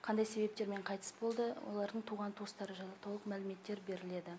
қандай себептермен қайтыс болды олардың туған туыстары жайлы толық мәліметтер беріледі